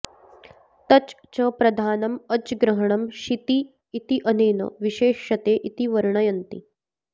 तच् च प्रधानम् अज्ग्रहणम् शिति इत्यनेन विशेष्यते इति वर्णयन्ति